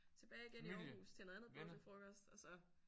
Tilbage igen i Aarhus til noget andet påskefrokost og så